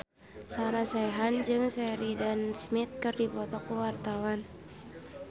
Sarah Sechan jeung Sheridan Smith keur dipoto ku wartawan